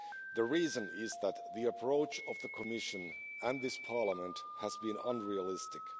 The reason is that the approach of the Commission and this Parliament has been unrealistic.